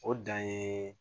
O dan ye